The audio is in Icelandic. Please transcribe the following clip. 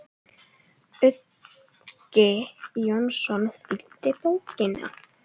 Uggi Jónsson þýddi bókina.